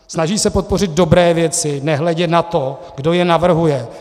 Snaží se podpořit dobré věci, nehledě na to, kdo je navrhuje.